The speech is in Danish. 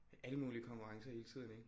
Alle mulige konkurrencer hele tiden ikke